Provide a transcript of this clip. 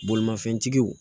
Bolimafɛntigiw